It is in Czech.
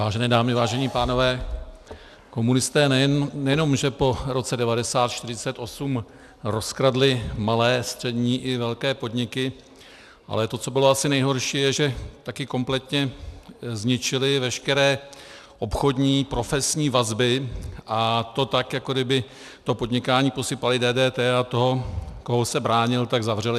Vážené dámy, vážení pánové, komunisté nejenom že po roce 1948 rozkradli malé, střední i velké podniky, ale to, co bylo asi nejhorší, je, že taky kompletně zničili veškeré obchodní, profesní vazby, a to tak, jako kdyby to podnikání posypali DDT, a toho, kdo se bránil, tak zavřeli.